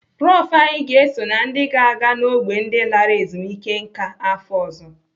Prof anyị ga-eso na ndị ga-aga n'ógbè ndị lara ezumike nká afọ ọzọ.